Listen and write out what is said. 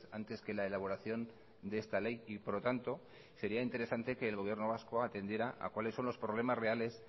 antes que la elaboración de esta ley y por lo tanto sería interesante que el gobierno vasco atendiera a cuales son los problemas reales